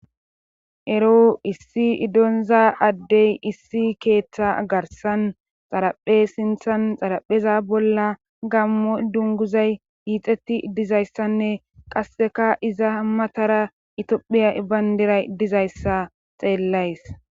Eroo issi donzaaddey issi keetha garssan xaraphe sinthan xarappeZa bolla gaammo dungguzay hiixatt dizayssanne qasseka iza matara Itophiya banddiray Dizayssa xeellays.